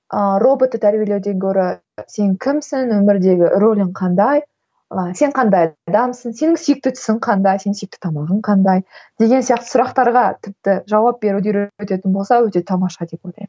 ыыы роботты тәрбиелеуден гөрі сен кімсің өмірдегі рөлің қандай ы сен қандай адамсың сенің сүйікті түсің қандай сенің сүйікті тамағың қандай деген сияқты сұрақтарға тіпті жауап беруді үйрететін болса өте тамаша деп ойлаймын